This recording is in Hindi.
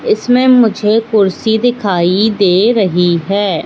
इसमें मुझे कुर्सी दिखाई दे रही है।